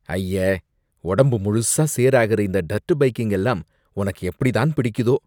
அய்ய, ஒடம்பு முழுசா சேராகுற இந்த டர்ட் பைக்கிங் எல்லாம் உனக்கு எப்படித்தான் பிடிக்குதோ?